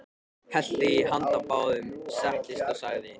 Hellti í handa báðum, settist og sagði: